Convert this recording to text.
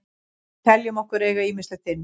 Við teljum okkur eiga ýmislegt inni.